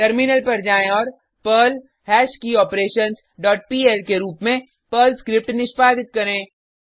terminal पर जाएँ और पर्ल हैश्कियोपरेशंस डॉट पीएल के रुप में पर्ल स्क्रिप्ट निष्पादित करें